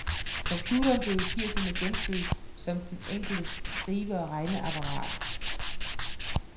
Computeren blev i firserne genfødt som den enkeltes skrive og regneapparat.